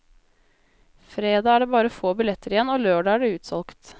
Fredag er det bare få billetter igjen og lørdag er det utsolgt.